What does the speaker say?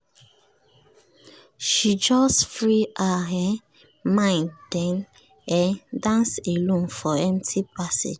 she just free her um mind den um dance alone for empty passage.